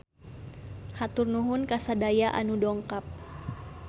Hatur nuhun ka sadaya anu dongkap